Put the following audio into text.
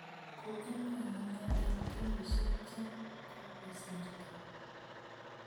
Koinyoru ne eng' kenyisyek che kokosirto?